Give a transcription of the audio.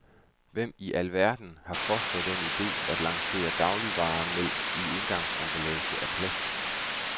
Hvem i alverden har fostret den ide at lancere dagligvaren mælk i engangsemballage af plast?